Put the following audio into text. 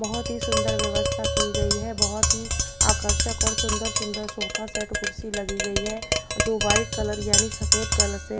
बहोत ही सुंदर व्यवस्था की गई है बहोत ही आकर्षक और सुंदर सुंदर सोफा सेट कुर्सी लगी गई है जो व्हाइट कलर यानी सफेद कलर से--